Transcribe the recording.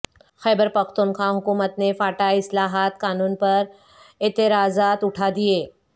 خیبر پختونخوا حکومت نے فاٹا اصلاحات قانون پر اعتراضات اٹھا دیے